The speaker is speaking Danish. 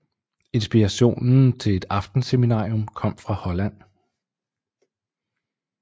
Inspirationen til et aftenseminarium kom fra Holland